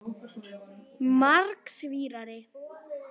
Margs vísari.